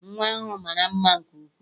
Nnwa ahụ mara mma nke ukwuu.